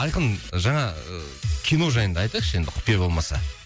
айқын жаңа ы кино жайында айтайықшы енді құпия болмаса